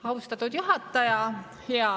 Austatud juhataja!